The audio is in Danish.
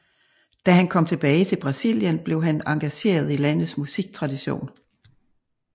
Da han kom tilbage til Brasilien blev han engageret i landets musiktradition